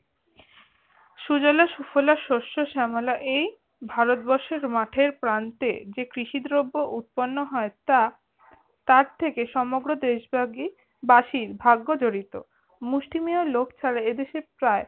সুজলা সুফলা শস্য শ্যামলা এই ভারতবর্ষের এই মাঠের প্রান্তে যে কৃষি দ্রব্য উৎপন্ন হয় তা তার থেকে সমগ্র দেশব্যাপী বাসি ভাগ্য জড়িত। মুষ্টিমেয় লোক ছাড়া এই দেশে প্রায়